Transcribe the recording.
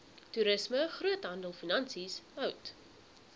toerisme groothandelfinansies hout